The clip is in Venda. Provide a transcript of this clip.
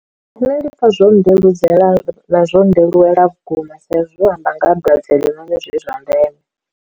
Nṋe ndi pfha zwo ndeludzela ḽa zwo ndelulela vhukuma sa izwi zwi amba nga ha dwadze heḽi zwone zwi zwa ndeme.